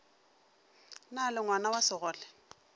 na le ngwana wa segole